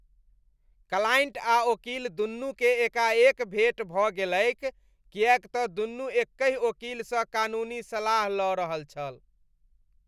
Client आ ओकील दुनूकेँ एकाएक भेट भऽ गेलैक किएक तँ दुनू एकहि ओकीलसँ कानूनी सलाह लऽ रहल छल।